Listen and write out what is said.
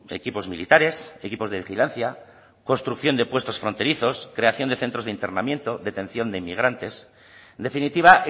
equipos militares equipos de vigilancia construcción de puestos fronterizos creación de centros de internamiento detención de inmigrantes en definitiva